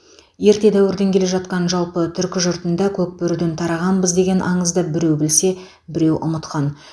ерте дәуірден келе жатқан жалпы түркі жұртында көкбөріден тарағанбыз деген аңызды біреу білсе біреу ұмытқан